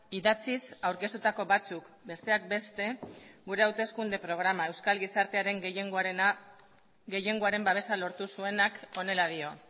idatziz aurkeztutako batzuk besteak beste gure hauteskunde programa euskal gizartearen gehiengoaren babesa lortu zuenak honela dio